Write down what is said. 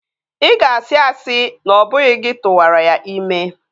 Ị ga-asị asị na ọ bụghị gị tụwara ya ime